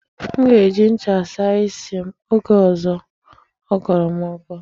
M ga-eji ncha saa isi m oge ọzọ ọ kọrọ m ọkọ.